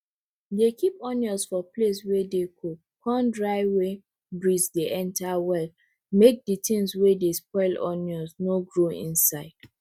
dey keep onions for place wey dey cold con dry wey breeze dey enter well make de tin wey dey spoil onion no grow inside